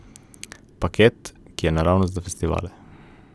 Paket, ki je naravnost za festivale.